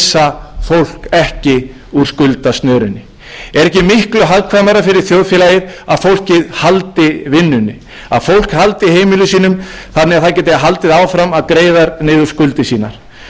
fólk ekki úr skuldasnörunni er ekki miklu hagkvæmara fyrir þjóðfélagið að fólkið haldi vinnunni að fólk haldi heimilum sínum þannig að það geti haldið áfram að greiða niður skuldir sínar tuttugu prósent leiðréttingin er